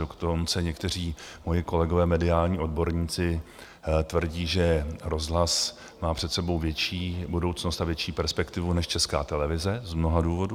Dokonce někteří moji kolegové, mediální odborníci, tvrdí, že rozhlas má před sebou větší budoucnost a větší perspektivu než Česká televize, z mnoha důvodů.